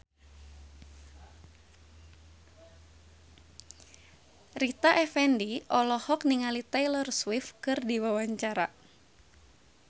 Rita Effendy olohok ningali Taylor Swift keur diwawancara